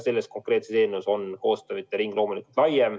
Selle konkreetse eelnõu puhul on koostööpartnerite ring loomulikult lai.